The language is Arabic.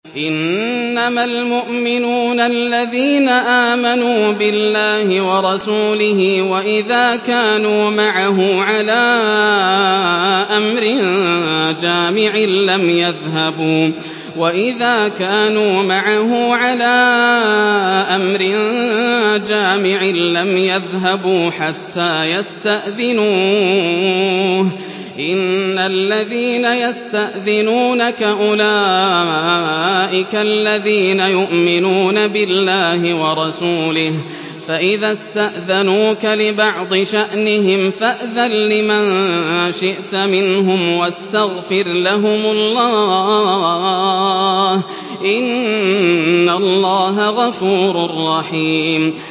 إِنَّمَا الْمُؤْمِنُونَ الَّذِينَ آمَنُوا بِاللَّهِ وَرَسُولِهِ وَإِذَا كَانُوا مَعَهُ عَلَىٰ أَمْرٍ جَامِعٍ لَّمْ يَذْهَبُوا حَتَّىٰ يَسْتَأْذِنُوهُ ۚ إِنَّ الَّذِينَ يَسْتَأْذِنُونَكَ أُولَٰئِكَ الَّذِينَ يُؤْمِنُونَ بِاللَّهِ وَرَسُولِهِ ۚ فَإِذَا اسْتَأْذَنُوكَ لِبَعْضِ شَأْنِهِمْ فَأْذَن لِّمَن شِئْتَ مِنْهُمْ وَاسْتَغْفِرْ لَهُمُ اللَّهَ ۚ إِنَّ اللَّهَ غَفُورٌ رَّحِيمٌ